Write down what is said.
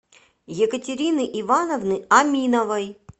екатерины ивановны аминовой